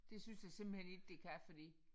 Det synes jeg simpelthen ikke det kan fordi